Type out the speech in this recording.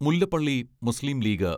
Mullappally Muslim league